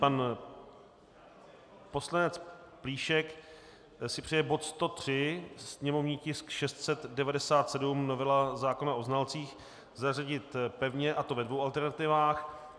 Pan poslanec Plíšek si přeje bod 103 sněmovní tisk 697, novela zákona o znalcích, zařadit pevně, a to ve dvou alternativách.